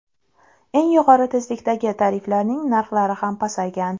Eng yuqori tezlikdagi tariflarning narxlari ham pasaygan.